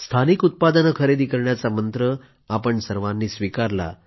स्थानिक उत्पादन खरेदी करण्याचा मंत्र आपण सर्वांनी स्वीकारला